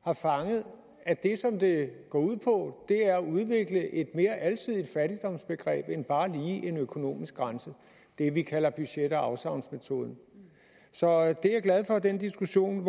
har fanget at det som det går ud på er at udvikle et mere alsidigt fattigdomsbegreb end bare lige en økonomisk grænse det vi kalder budget og afsavnsmetoden så den diskussion